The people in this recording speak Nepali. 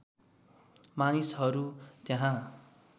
मानिसहरू त्यहाँ